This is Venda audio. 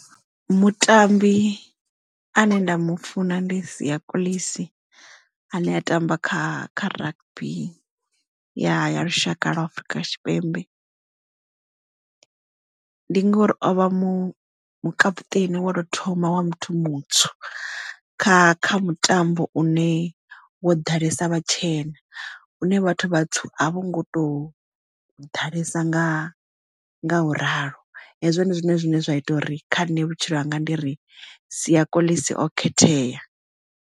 Mutambi ane nda mufuna ndi Siya Kolisi ane a tamba kha kha rugby ya ya lushaka lwa afrika tshipembe ndi ngori ovha captain wa to thoma wa muthu mutswu kha kha mutambo une wo ḓalesa vhatshena une vhathu vhatswu a vho ngo tou ḓalesa nga nga u ralo hezwo ndi zwone zwine zwa ita uri kha nṋe vhutshilo hanga ndi ri Siya Kolisi o khethea.